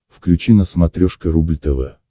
включи на смотрешке рубль тв